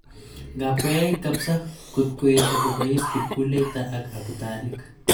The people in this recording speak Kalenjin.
Ngap koyait kapsa, kot koesha kopais kipkuleita ak agutanik.